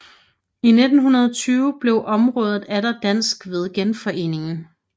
I 1920 blev området atter dansk ved Genforeningen